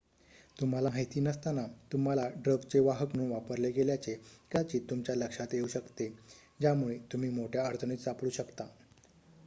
तुम्हाला माहिती नसताना तुम्हाला ड्रगचे वाहक म्हणून वापरले गेल्याचे कदाचित तुमच्या लक्षात येऊ शकते ज्यामुळे तुम्ही मोठ्या अडचणीत सापडू शकता